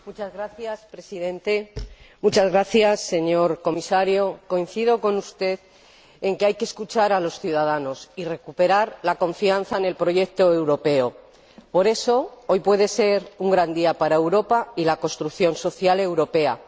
Señor Presidente, Señor Comisario, le agradezco su intervención y coincido con usted en que hay que escuchar a los ciudadanos y recuperar la confianza en el proyecto europeo. Por eso, hoy puede ser un gran día para Europa y la construcción social europea.